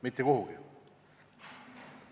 Mitte kuhugi!